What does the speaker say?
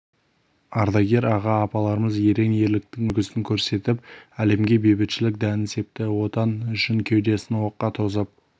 ардагер аға-апаларымыз ерен ерліктің үлгісін көрсетіп әлемге бейбітшілік дәнін септі отан үшін кеудесін оққа тосып